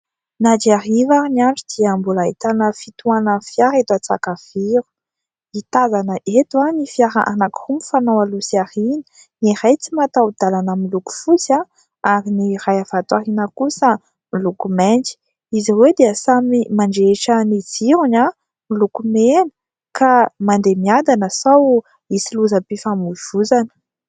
Na dia hariva ary ny andro dia mbola ahitana fitohanan'ny fiara eto Antsakaviro. Ny tazana eto ny fiara anankiroa mifanao aloha sy aoriana. Ny iray tsy mataho-dalana miloko fotsy, ary ny iray avy ato aoriana kosa miloko mainty. Izy ireo dia samy mandrehitra ny jirony miloko mena ka mandeha miadana sao misy lozam-pifamoivoizana.